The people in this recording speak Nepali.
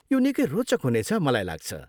यो निकै रोचक हुनेछ, मलाई लाग्छ।